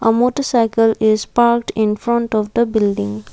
a motorcycle is parked in front of the building.